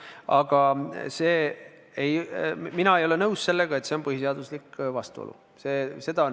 Aga mina ei ole nõus, et see on põhiseadusega vastuolus.